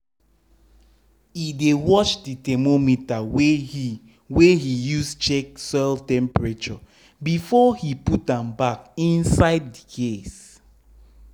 e dey wash the thermometer wey he wey he use check soil temperature before he put am back inside the case